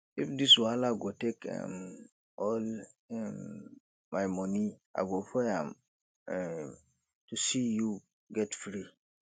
if this wahala go take um all um my monie i go pay am um to see you get free